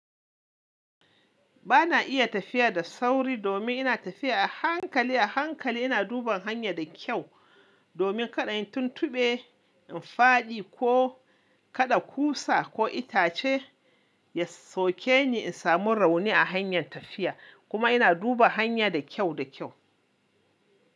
Ba na iya tafiya da sauri domin ina tafiya a hankali, a hankali ina duba hanya da kyau domin kada in tuntube, in fadi ko kada kusa ko itace, ya soke ni in samu rauni a hanyar tafiya kuma ina duba hanya da kyau da kyau.